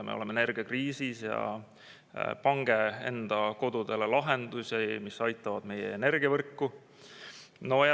Me oleme energiakriisis ja pange enda kodudele lahendusi, mis aitavad meie energiavõrku.